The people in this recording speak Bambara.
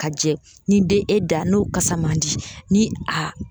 Ka jɛ ni den e da n'o kasa man di ni a